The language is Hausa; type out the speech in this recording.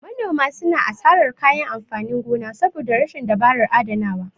Manoma suna asarar kayan amfanin gona saboda rashin dabarar adanawa.